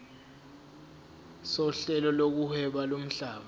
sohlelo lokuhweba lomhlaba